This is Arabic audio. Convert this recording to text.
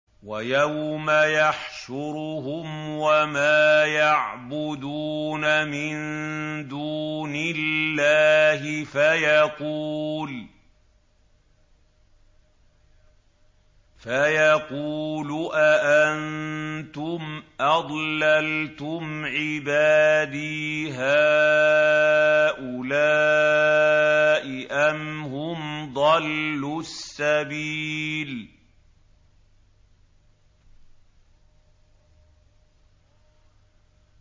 وَيَوْمَ يَحْشُرُهُمْ وَمَا يَعْبُدُونَ مِن دُونِ اللَّهِ فَيَقُولُ أَأَنتُمْ أَضْلَلْتُمْ عِبَادِي هَٰؤُلَاءِ أَمْ هُمْ ضَلُّوا السَّبِيلَ